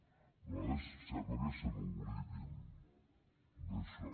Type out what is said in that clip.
de vegades sembla que se n’oblidin d’això